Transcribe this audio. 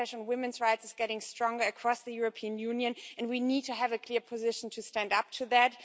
The backlash against women's rights is getting stronger across the European Union, and we need to have a clear position to stand up to that.